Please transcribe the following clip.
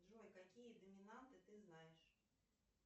джой какие доминанты ты знаешь